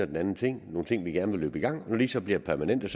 den anden ting nogle ting vi gerne vil løbe i gang når de så bliver permanente